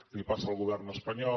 li passa al govern espanyol